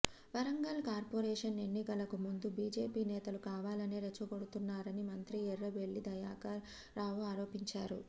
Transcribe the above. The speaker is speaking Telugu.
వరంగల్ కార్పోరేషన్ ఎన్నికలకు ముందు బీజేపీ నేతలు కావాలనే రెచ్చగొడుతున్నారని మంత్రి ఎర్రబెల్లి దయాకర్ రావు ఆరోపించారు